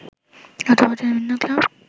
গত বছরও বিভিন্ন ক্লাব